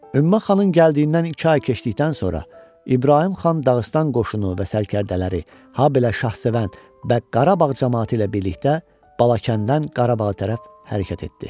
Ümmə xanın gəldiyindən iki ay keçdikdən sonra İbrahim xan Dağıstan qoşunu və sərkərdələri, habelə Şahsevən Bəq Qarabağ camaatı ilə birlikdə Balakənddən Qarabağa tərəf hərəkət etdi.